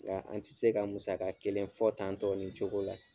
Nka an ti se ka musaka kelen fɔ tan tɔ nin cogo la.